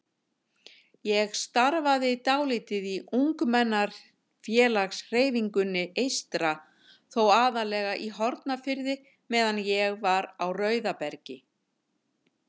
Ég starfaði dálítið í ungmennafélagshreyfingunni eystra, þó aðallega í Hornafirði meðan ég var á Rauðabergi.